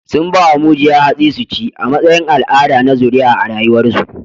Sun ba wa mujiya hatsi su ci, a matsayin al'ada na zuriya a rayuwarsu